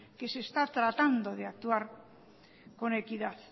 que se está tratando de actuar con equidad